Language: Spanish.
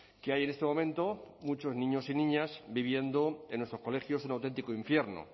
que hay en este momento muchos niños y niñas viviendo en nuestros colegios un auténtico infierno